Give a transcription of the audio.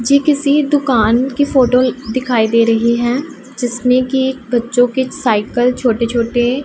जे किसी दुकान की फोटो दिखाई दे रही हैं जिसमें की बच्चों की साइकल छोटे छोटे--